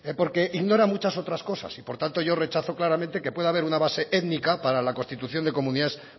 porque ignora muchas otras cosas y por tanto yo rechazo claramente que pueda haber una base étnica para la constitución de comunidades